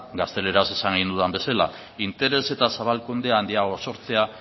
gazteleraz esaten nuen bezala interes eta zabalkunde handiago sortzea